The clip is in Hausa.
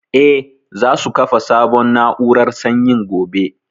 Eh, za su kafa sabon na'urar sanyin gobe